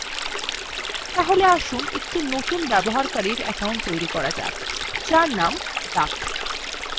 তাহলে আসুন একটি নতুন ব্যবহারকারীর অ্যাকাউন্ট তৈরী করা যাক যার named duck